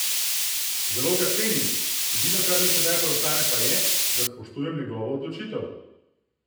Zelo ga cenim, edino kar mi sedaj preostane pa je, da spoštujem njegovo odločitev.